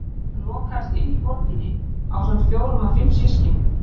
Hún lokaðist inni í borginni ásamt fjórum af fimm systkinum.